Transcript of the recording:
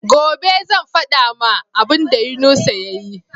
Gobe zan fada ma abun da yunusa yayi